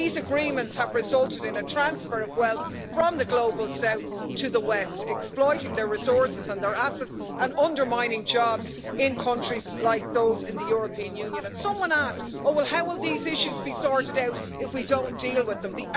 These agreements have resulted in a transfer of wealth from the Global South to the West, exploiting their resources and their assets and undermining jobs in countries like those in the European Union. Someone asked how will these issues be sorted out if we don't deal with them?